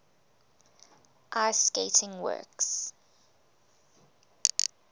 ice skating works